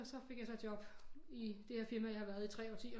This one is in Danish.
Så fik jeg så job i det firma jeg har været i 3 årtier